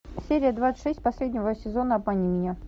серия двадцать шесть последнего сезона обмани меня